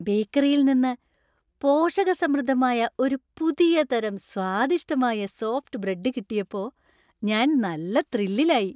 ബേക്കറിയിൽ നിന്ന് പോഷകസമൃദ്ധദമായ ഒരു പുതിയ തരം സ്വാദിഷ്ടമായ സോഫ്റ്റ് ബ്രെഡ് കിട്ടിയപ്പോ ഞാൻ നല്ല ത്രില്ലിലായി.